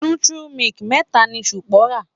Nutri milk mẹ́ta ni Sunbo rà.